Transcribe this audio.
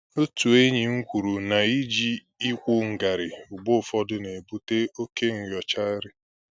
Otu enyí m kwuru na ịjụ ịkwụ ngarị mgbe ụfọdụ na-ebute oke nyochagharị